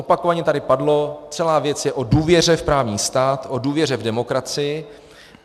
Opakovaně tady padlo, celá věc je o důvěře v právní stát, o důvěře v demokracii.